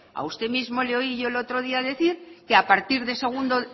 a usted mismo le oí el otro día decir que